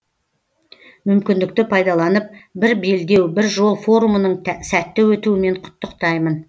мүмкіндікті пайдаланып бір белдеу бір жол форумының сәтті өтуімен құттықтаймын